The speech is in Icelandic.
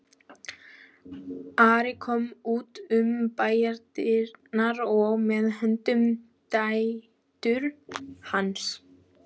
Ari kom út um bæjardyrnar og með honum dætur hans.